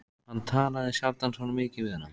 Hann talaði sjaldan svona mikið við hana.